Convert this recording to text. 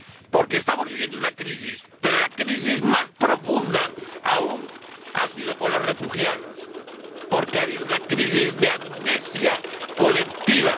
Porque estamos viviendo una crisis, pero la crisis más profunda aún ha sido con los refugiados, porque ha habido una crisis de amnesia colectiva.